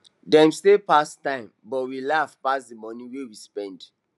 dem stay pass time but we laugh pass the money wey we spend